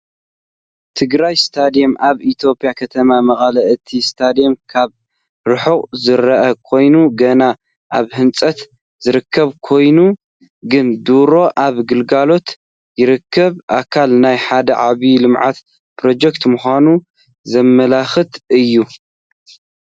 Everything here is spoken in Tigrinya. ትግራይ ስታድየም ኣብ ኢትዮጵያ ከተማ መቐለ እቲ ስታድየም ካብ ርሑቕ ዝርአ ኮይኑ ገና ኣብ ህንፀት ዝርከብ ኮይኑ ግን ድሮ ኣብ ኣገልግሎት ይርከብ። ኣካል ናይ ሓደ ዓቢ ልምዓታዊ ፕሮጀክት ምዃኑ ዘመልክት እዩ።